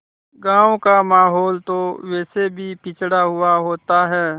गाँव का माहौल तो वैसे भी पिछड़ा हुआ होता है